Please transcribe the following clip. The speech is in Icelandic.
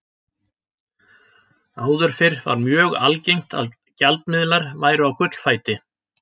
Áður fyrr var mjög algengt að gjaldmiðlar væru á gullfæti.